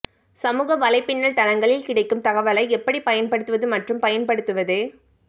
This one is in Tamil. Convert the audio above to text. சமூக வலைப்பின்னல் தளங்களில் கிடைக்கும் தகவலை எப்படிப் பயன்படுத்துவது மற்றும் பயன்படுத்துவது